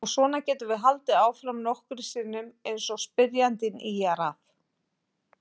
Og svona getum við haldið áfram nokkrum sinnum eins og spyrjandi ýjar að.